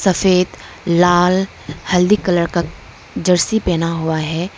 सफेद लाल हल्दी कलर का जर्सी पहना हुआ है।